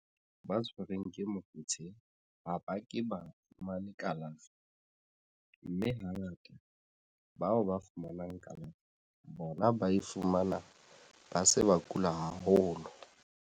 Ba tshwerweng ke mofetshe ha ba ke ba fumane kalafo, mme hangata bao ba fumanang kalafo bona ba e fumana ba se ba kula haholo.